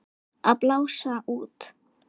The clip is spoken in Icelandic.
Að blása út.